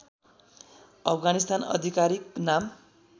अफगानिस्तान आधिकारिक नाम